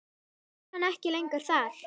Nú var hann ekki lengur þar.